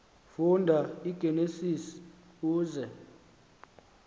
funda igenesis uze